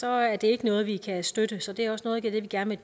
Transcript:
er det ikke noget vi kan støtte så det er også noget af det vi gerne